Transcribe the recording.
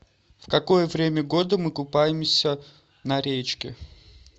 в какое время года мы купаемся на речке